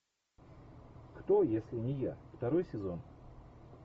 кто если не я второй сезон